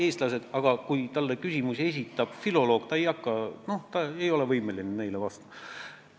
Eestlased, kui neile esitab küsimusi filoloog, ei ole võimelised neile vastama.